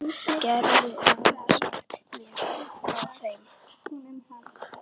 Geturðu aðeins sagt mér frá þeim?